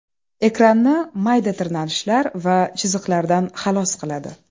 Ekranni mayda tirnalishlar va chiziqlardan xalos qiladi.